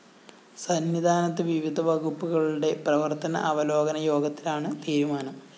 സന്നിധാനത്ത് വിവിധ വകുപ്പുകളുടെ പ്രവര്‍ത്തന അവലോകന യോഗത്തിലാണ് തീരുമാനം